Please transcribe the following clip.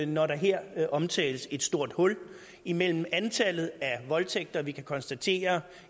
når der her omtales et stort hul imellem det antal voldtægter vi kan konstatere